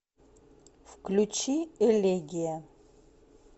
включи элегия